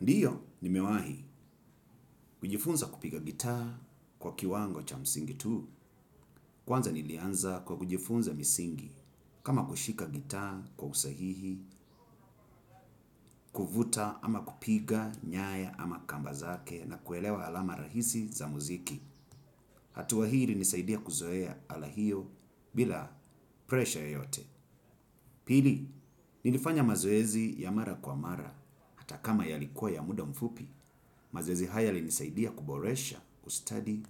Ndiyo, nimewahi, kujifunza kupiga gitaa kwa kiwango cha msingi tu, kwanza nilianza kwa kujifunza msingi, kama kushika gitaa kwa usahihi, kuvuta ama kupiga nyaya ama kamba zake na kuelewa alama rahisi za muziki. Atuwa hiri nisaidia kuzoea ala hiyo bila presha yoyote. Pili, nilifanya mazoezi ya mara kwa mara atakama yalikuwa ya muda mfupi, mazoezi haya yalinisaidia kuboresha ustadi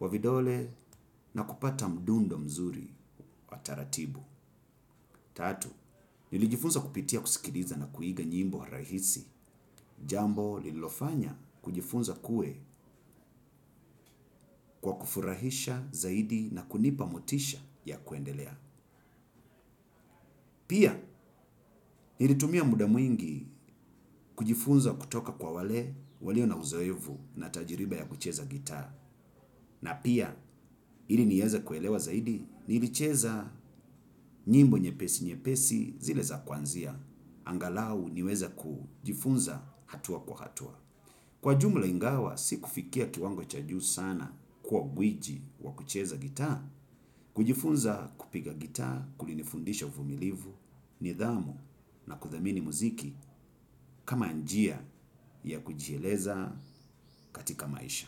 wa vidole na kupata mdundo mzuri wa taratibu. Tatu, nilijifunza kupitia kusikiriza na kuiga nyimbo rahisi jambo lilofanya kujifunza kue kwa kufurahisha zaidi na kunipa motisha ya kuendelea. Pia, nilitumia muda mwingi kujifunza kutoka kwa wale walio na uzoevu na tajiriba ya kucheza gita. Na pia, ili nieza kuelewa zaidi, nilicheza nyimbo nye pesi nye pesi zile za kwanzia. Angalau niweza kujifunza hatua kwa hatua. Kwa jumla ingawa, si kufikia kiwango chaju sana kuwa guiji wa kucheza gita, kujifunza kupiga gita, kulinifundisha ufumilivu, nidhamu na kuthamini muziki kama njia ya kujieleza katika maisha.